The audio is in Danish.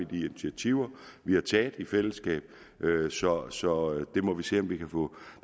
de initiativer vi har taget i fællesskab så så det må vi se om vi kan få